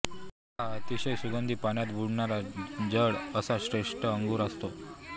हा अतिशय सुगंधी पाण्यात बुडणारा जड असा श्रेष्ठ अगरू असतो